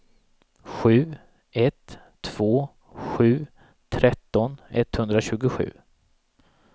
sju ett två sju tretton etthundratjugosju